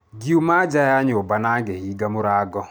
Ngiuma nja ya nyũmba na ngĩhinga mũrango.